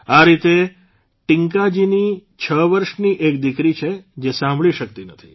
આ રીતે ટીંકાજીની છ વર્ષની એક દીકરી છે જે સાંભળી શક્તી નથી